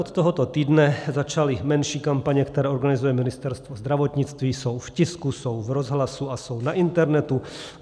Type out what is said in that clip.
Od tohoto týdne začaly menší kampaně, které organizuje Ministerstvo zdravotnictví, jsou v tisku, jsou v rozhlasu a jsou na internetu.